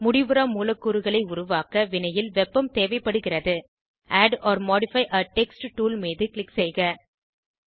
முடிவுறா மூலக்கூறுகளை உருவாக்க வினையில் வெப்பம் தேவைப்படுகிறது add or modify a text tool மீது க்ளிக் செய்க